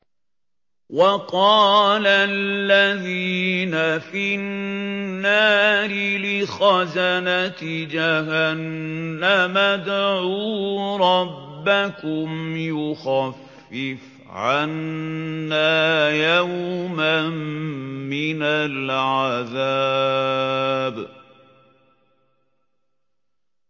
وَقَالَ الَّذِينَ فِي النَّارِ لِخَزَنَةِ جَهَنَّمَ ادْعُوا رَبَّكُمْ يُخَفِّفْ عَنَّا يَوْمًا مِّنَ الْعَذَابِ